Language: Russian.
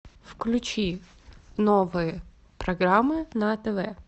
включи новые программы на тв